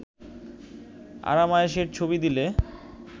আরাম-আয়েশের ছবি দিলে